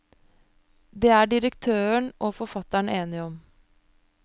Det er direktøren og forfatteren enige om.